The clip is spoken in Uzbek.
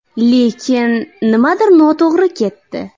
Lekin nimadir noto‘g‘ri ketdi.